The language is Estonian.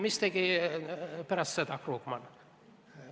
Mis tegi Krugman pärast seda?